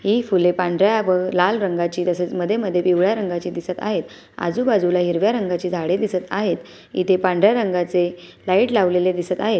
हे फुले पांढऱ्या व लाल रंगाचे तसेच मध्ये मध्ये पिवळ्या रंगाचे दिसत आहेत आजूबाजूला हिरव्या रंगाची झाडे दिसत आहेत इथे पांढऱ्या रंगाचे लाईट लावलेले दिसत आहे.